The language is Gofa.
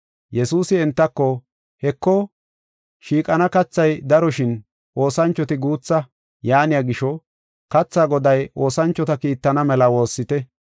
Yesuusi entako, “Heko, shiiqana kathay daro shin oosanchoti guutha. Yaaniya gisho, katha goday oosanchota kiittana mela woossite.